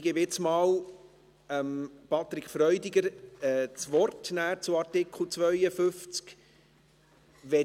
Ich gebe jetzt einmal Patrick Freudiger das Wort zu Artikel 52.